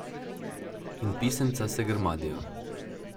In pisemca se grmadijo.